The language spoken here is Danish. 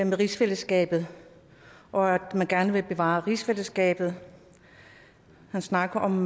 med rigsfællesskabet og at man gerne vil bevare rigsfællesskabet han snakker om